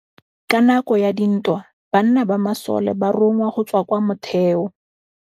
Ka nakô ya dintwa banna ba masole ba rongwa go tswa kwa mothêô.